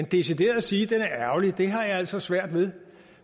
decideret at sige den er ærgerlig har jeg altså svært ved